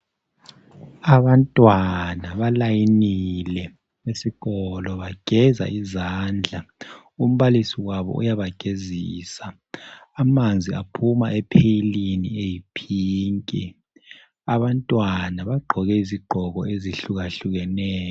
Abantwana balayinile esikolo bageza izandla umbalisi wabo uyabagezisa. Amanzi aphuma epheyilini eyipink. Abantwana bagqoke izigqoko ezihlukahlukeneyo.